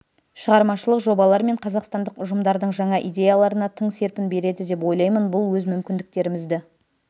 шығармашылық жобалар мен қазақстандық ұжымдардың жаңа идеяларына тың серпін береді деп ойлаймын бұл өз мүмкіндіктерімізді